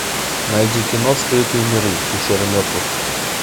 найди кино скрытые миры пещера мертвых